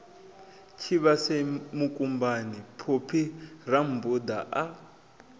tshivhase mukumbani phophi rammbuda a